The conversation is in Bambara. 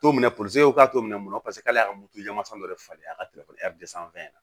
T'o minɛ polisiw k'a to minɛn mun kɔnɔ paseke k'ale y'a dɔ de falen a ka sanfɛ